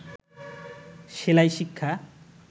সেলাই শিক্ষা